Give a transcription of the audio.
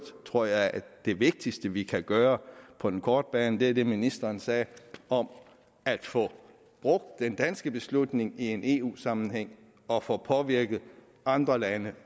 tror jeg at det vigtigste vi kan gøre på den korte bane er det ministeren sagde om at få brugt den danske beslutning i en eu sammenhæng og få påvirket andre lande